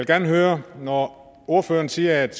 gerne høre når ordføreren siger at